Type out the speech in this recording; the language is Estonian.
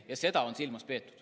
Ja seda on silmas peetud.